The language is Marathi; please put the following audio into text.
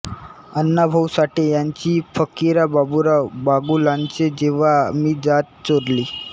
अण्णा भाऊ साठे यांची फकिरा बाबुराव बागुलांचे जेंव्हा मी जात चोरली